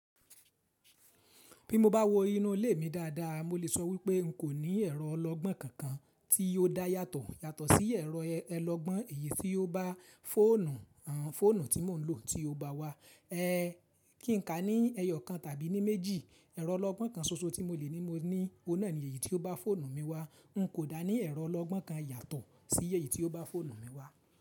Bí mo bá wo inú ilé mi dáadáa, mo lè sọ wípé n kò ní ẹ̀rọ ọlọ́gbọ́n kankan tí ó dá yàtọ̀ yàtọ̀ sí ẹ̀rọ ẹlọgbọ́n èyí tí ó bá fóònù, àń, fóònù tí mò ń lò tí ó bá wá, ẹ́, kí n ka ní ẹyọ kan tàbí ní méjì. Ẹ̀rọ ọlọ́gbọ́n kan ṣoṣo tí mo le ní mo ní, ò n náà ní èyí tí ó bá fóònù mi wá. N kò dá ní ẹ̀rọ ọlọ́gbọ́n kan yàtọ̀ sí èyí tí ó bá fóònù mi wá.